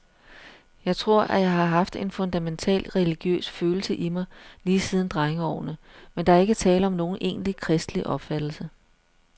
Jeg tror, at jeg har haft en fundamental religiøs følelse i mig lige siden drengeårene, men der ikke tale om nogen egentlig kristelig opfattelse.